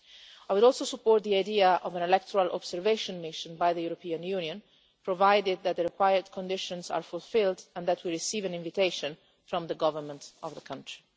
I would also support the idea of an electoral observation mission by the European Union, provided that the required conditions are fulfilled and that we receive an invitation from the Government of the country.